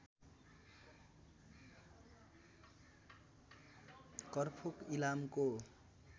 करफोक इलामको